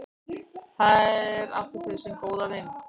Þar áttu þau sinn góða vin.